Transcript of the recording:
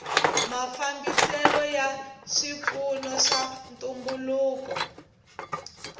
mafambiselo ya swipfuno swa ntumbuluko